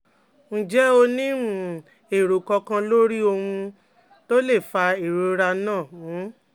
Ǹjẹ́ o ní um èrò kankan lórí ohun um to le fa ìrora náà? um